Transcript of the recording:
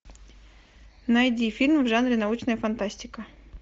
найди фильм в жанре научная фантастика